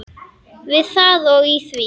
Við það og í því.